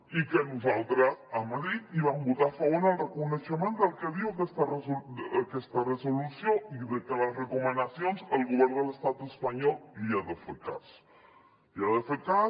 i que nosaltres a madrid hi vam votar a favor en reconeixement del que diu aquesta resolució i de que a les recomanacions el govern de l’estat espanyol els hi ha de fer cas els hi ha de fer cas